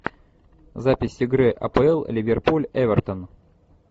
запись игры апл ливерпуль эвертон